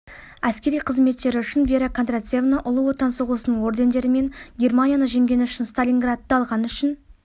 әскери қызметтері үшін вера кондратьевна ұлы отан соғысының ордендарымен германияны жеңгені үшін сталинградты алғаны үшін